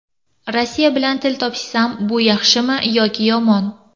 Rossiya bilan til topishsam, bu yaxshimi yoki yomon?